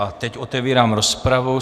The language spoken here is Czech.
A teď otevírám rozpravu.